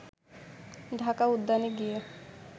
ঢাকা উদ্যানে গিয়ে